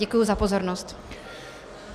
Děkuji za pozornost.